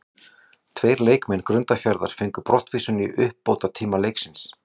Tveir leikmenn Grundarfjarðar fengu brottvísun í uppbótartíma leiksins.